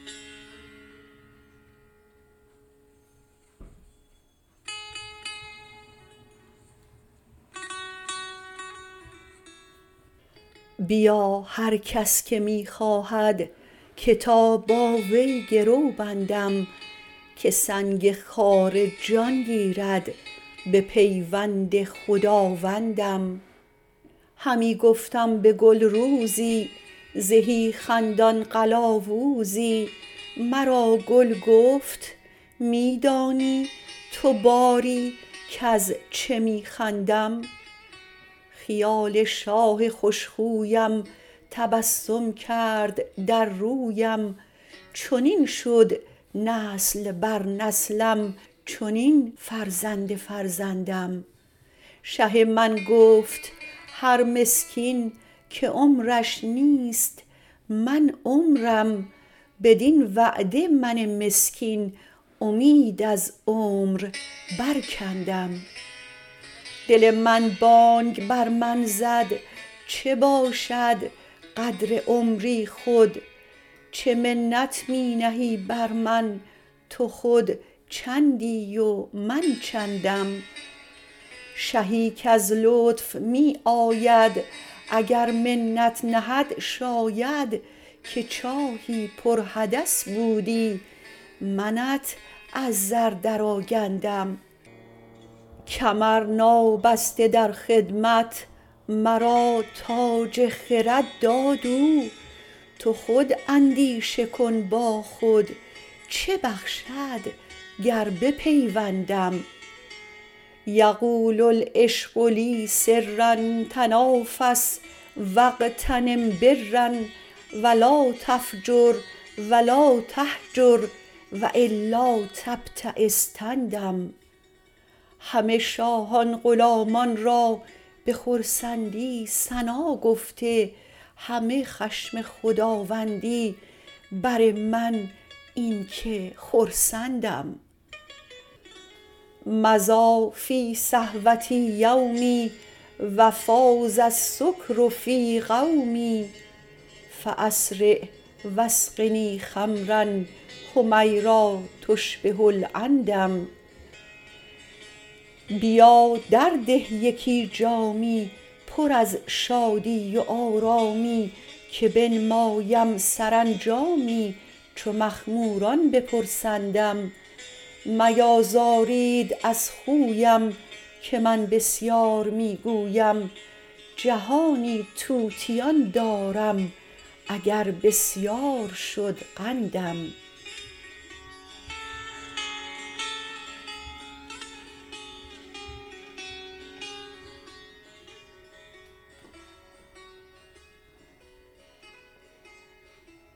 بیا هر کس که می خواهد که تا با وی گرو بندم که سنگ خاره جان گیرد بپیوند خداوندم همی گفتم به گل روزی زهی خندان قلاوزی مرا گل گفت می دانی تو باری کز چه می خندم خیال شاه خوش خویم تبسم کرد در رویم چنین شد نسل بر نسلم چنین فرزند فرزندم شه من گفت هر مسکین که عمرش نیست من عمرم بدین وعده من مسکین امید از عمر برکندم دل من بانگ بر من زد چه باشد قدر عمری خود چه منت می نهی بر من تو خود چندی و من چندم شهی کز لطف می آید اگر منت نهد شاید که چاهی پرحدث بودی منت از زر درآگندم کمر نابسته در خدمت مرا تاج خرد داد او تو خود اندیشه کن با خود چه بخشد گر بپیوندم یقول العشق لی سرا تنافس و اغتنم برا و لا تفجر و لا تهجر و الا تبتیس تندم همه شاهان غلامان را به خرسندی ثنا گفته همه خشم خداوندی بر من این که خرسندم مضی فی صحوتی یومی و فاض السکر فی قومی فاسرع و اسقنی خمرا حمیرا تشبه العندم بیا درده یکی جامی پر از شادی و آرامی که بنمایم سرانجامی چو مخموران بپرسندم میازارید از خویم که من بسیار می گویم جهانی طوطیان دارم اگر بسیار شد قندم